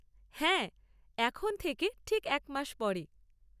হ্যাঁ, এখন থেকে ঠিক এক মাস পরে।